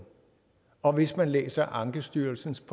og hvis man læser ankestyrelsens